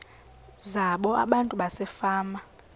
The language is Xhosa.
zabo abantu basefama